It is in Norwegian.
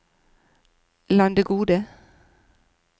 Landegode